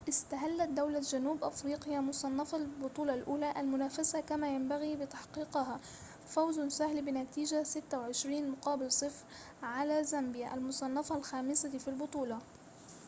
استهلت دولة جنوب أفريقيا مصنفة البطولة الأولى المنافسة كما ينبغي بتحقيقها فوز سهل بنتيجة 26 - 00 على زامبيا المصنفة الخامسة في البطولة